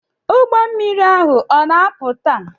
Ụgbọ mmiri ahu o na-apụ taa?